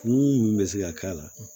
Mun bɛ se ka k'a la